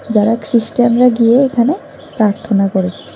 যারা খ্রিষ্টানরা গিয়ে এখানে প্রার্থনা করে।